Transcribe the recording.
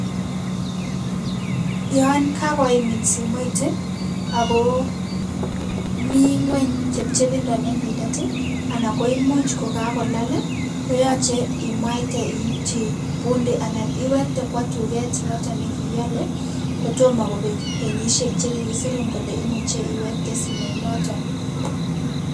Yon kakoimin simoit ako mi ingweny chepichepindo nenyindet anan koimuch kokakolal koyache imwaite iipchi pundi anan iwekte kwo tuket noto nekiale kotomo kopek kenyisiek che kikiserun kole imuchei iwekte simoit noto.